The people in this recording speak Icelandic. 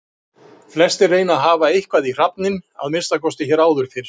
Flestir reyna að hafa eitthvað í hrafninn, að minnsta kosti hér áður fyrr.